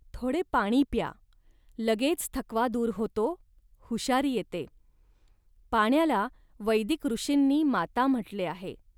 थोडे पाणी प्या, लगेच थकवा दूर होतो, हुशारी येते. पाण्याला वैदिक ऋषींनी माता म्हटले आहे